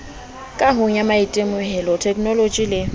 kahong ya maitemohelo thekenoloje le